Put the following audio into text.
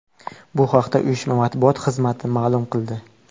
Bu haqda uyushma matbuot xizmati ma’lum qildi .